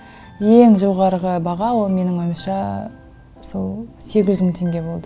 ең жоғарғы баға ол менің ойымша сол сегіз жүз мың теңге болды